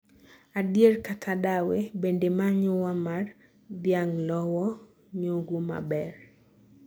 adier kata dawe, bende manyuwa mar dhianglowo nyogho maber